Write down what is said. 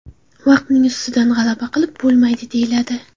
Vaqtning ustidan g‘alaba qilib bo‘lmaydi deyiladi.